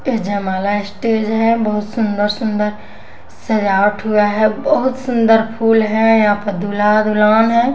ये जमाला स्टेज है बहुत सुंदर सुंदर सजावट हुआ है बहुत सुंदर फूल है यहाँ पर दुला दुलोन है।